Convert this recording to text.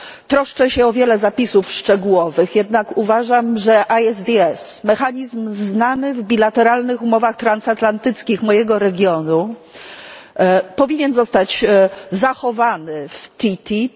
Troszczę się o wiele zapisów szczegółowych, jednak uważam, że ESDS mechanizm znany w bilateralnych umowach transatlantyckich mojego regionu powinien zostać zachowany w TTIP.